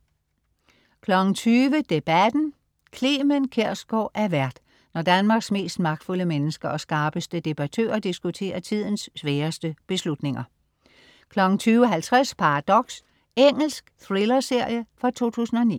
20.00 Debatten. Clement Kjersgaard er vært, når Danmarks mest magtfulde mennesker og skarpeste debattører diskuterer tidens sværeste beslutninger 20.50 Paradox. Engelsk thrillerserie fra 2009